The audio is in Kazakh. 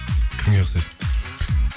кімге ұқсайсың